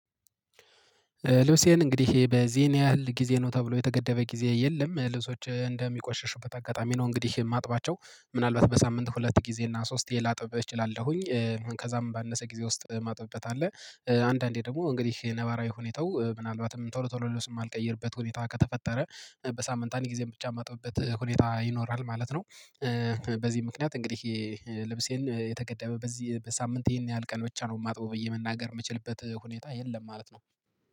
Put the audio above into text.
ልብሴን እንግዲህ በዚን ያህል ጊዜ ነው ተብሎ የተገደበ ጊዜ የለም። ልብሶች እንደሚቆሽሽበት አጋጣሚ ነው እንግዲህ የማጥባቸው ምናልባት በሳምንት ሁለት ጊዜ እና ሶስት ላጥብ እችላለሁኝ ከዛም ባነሰ ጊዜ ውስጥ ማጥበት አለ። አንዳንዴ ደግሞ እንግዲህ ነባራዊ ሁኔታው ምናልባትም ቶሎ ቶሎ ልብስ ማልቀየርበት ሁኔታ ከተፈጠረ በሳምንት አንድ ጊዜ ብቻ ማጥብበት ሁኔታ ይኖራል ማለት ነው። በዚህ ምክንያት እንግዲህ ልብሴን የተገደበ በዚህ በሳምንት ይሄን ያህል ቀን ብቻ ነው የማጥበው ብዬ መናገር የምችልበት ሁኔታ የለም ማለት ነው።